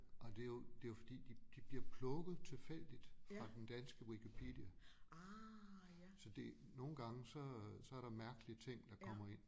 Og det jo det jo fordi de de bliver plukket tilfældigt fra den danske Wikipedia så det nogle gange så så der mærkelige ting der kommer ind